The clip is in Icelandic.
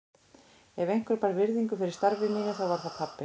Ef einhver bar virðingu fyrir starfi mínu þá var það pabbi.